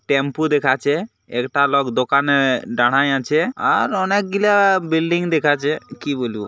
টেম্পু দেখাছে। একটা লোক দোকানে দাড়ায় আছে। আর অনেক গুলো বিল্ডিং দেখাছে। কি বলবো--